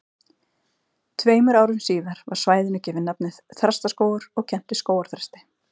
Tveimur árum síðar var svæðinu gefið nafnið Þrastaskógur og kennt við skógarþresti.